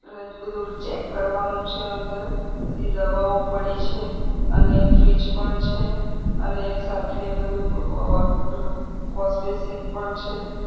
બધું ચેક કરવાનું છે અંદર બધી દવાઓ પડી છે અને ફ્રીજ પણ છે અને સાથે બધું પેલું વોશબેસિન પણ છે.